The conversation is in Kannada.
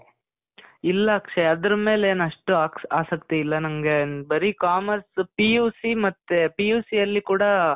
ಇಲ್ಲ ಅಕ್ಷಯ್. ಅದ್ರ್ ಮೇಲೆನ್ ಅಷ್ಟು ಆಕ್ಷ್, ಆಸಕ್ತಿ ಇಲ್ಲ ನನ್ಗೆ. ಬರೀ commerce, PUC ಮತ್ತೆ PUC ಅಲ್ಲಿ ಕೂಡಾ